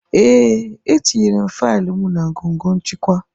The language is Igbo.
Ee, etinyere m faịlụ m na ngọngọ nchịkwa..